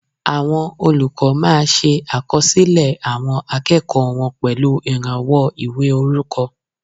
Àwọn olùkọ́ máa ṣe àkọsílẹ̀ àwọn akẹ́kọ̀ọ́ wọn pẹ̀lú ìrànwọ́ ìwé orúkọ